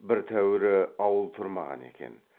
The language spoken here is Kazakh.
бір тәуірі ауыл тұрмаған екен